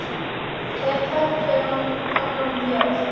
Þeir pöntuðu annan bjór.